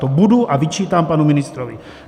To budu a vyčítám panu ministrovi.